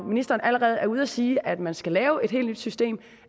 ministeren allerede er ude at sige at man skal lave et helt nyt system og